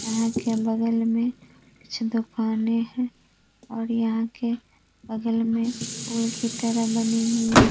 यहाँ के बगल में कुछ दुकाने हैं और यहाँ के बगल में पुल की तरह बनी हुई --